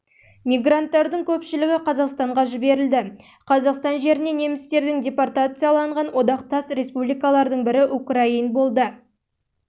мигранттардың көпшілігі қазақстанға жіберілді қазақстан жеріне немістердің депортацияланған одақтас республикалардың бірі украин болды қабылданған қаулы бойынша